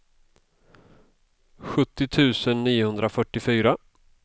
sjuttio tusen niohundrafyrtiofyra